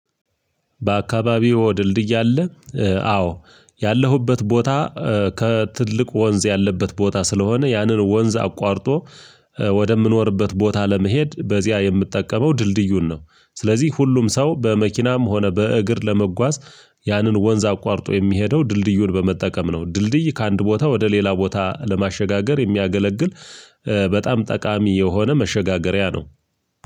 በአካባቢው ወድልድይ አለ። አዎ ያለሁበት ቦታ ከትልቅ ወንዝ ያለበት ቦታ ስለሆነ ያንን ወንዝ አቋርጦ ወደምኖርበት ቦታ ለመሄድ በዚያ የምጠቀመው ድልድዩን ነው። ስለዚህ ሁሉም ሰው በመኪናም ሆነ በእግር ለመጓዝ ያንን ወንዝ አቋርጦ የሚሄደው ድልድዩን በመጠቀም ነው። ድልድይ ከአንድ ቦታ ወደ ሌላ ቦታ ለማሸጋገር የሚያገለግል በጣም ጠቃሚ የሆነ መሸጋገሪያ ነው።